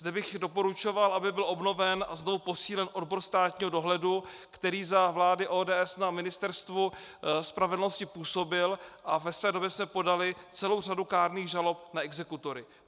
Zde bych doporučoval, aby byl obnoven a znovu posílen odbor státního dohledu, který za vlády ODS na Ministerstvu spravedlnosti působil, a ve své době jsme podali celou řadu kárných žalob na exekutory.